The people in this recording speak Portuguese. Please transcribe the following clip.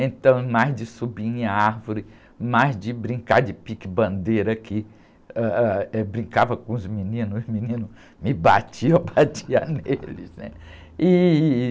Então, mais de subir em árvore, mais de brincar de pique-bandeira, que, ãh, ãh, eh, brincava com os meninos, os meninos me batiam, eu batia neles, né? Ih, ih, e...